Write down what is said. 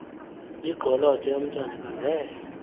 igqoloda eyomntwana ekhangele